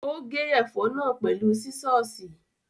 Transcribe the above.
Ó gé ẹ̀fọ́ náà pẹ̀lú sísọ́ọ̀sì.